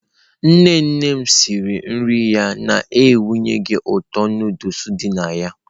Nne nne m siri nri ya na-enweghị ụtọ Indomie dị na ya.